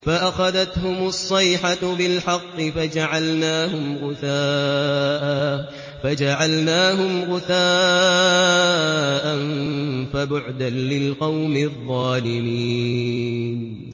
فَأَخَذَتْهُمُ الصَّيْحَةُ بِالْحَقِّ فَجَعَلْنَاهُمْ غُثَاءً ۚ فَبُعْدًا لِّلْقَوْمِ الظَّالِمِينَ